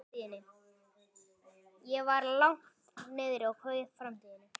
Ég var langt niðri og kveið framtíðinni.